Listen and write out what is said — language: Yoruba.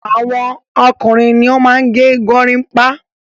Àwọn ọkùnrin a máa gẹ́ gòrìmpa.